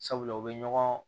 Sabula u bɛ ɲɔgɔn